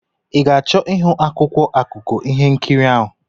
Ị ga-achọ ịhụ akwụkwọ akụkọ ihe nkiri ahụ?